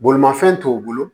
Bolimafɛn t'o bolo